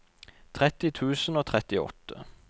tretti tusen og trettiåtte